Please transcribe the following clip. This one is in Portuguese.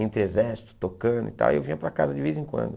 Entre exército, tocando e tal, eu vinha para casa de vez em quando.